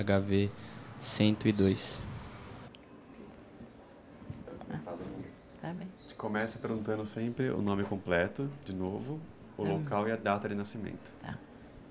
Cento e dois. A gente começa perguntando sempre o nome completo de novo, o local e a data de nascimento.